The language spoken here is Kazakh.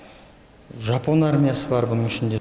жапон армиясы бар бұның ішінде